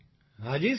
હા જી સર